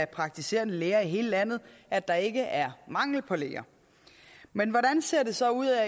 praktiserende læger i hele landet at der ikke er mangel på læger men hvordan ser det så ud